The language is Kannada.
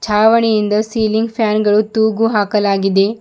ಛಾವಣಿಯಿಂದ ಸೀಲಿಂಗ್ ಪ್ಯಾನ್ ಗಳು ತೂಗುಹಾಕಲಾಗಿದೆ.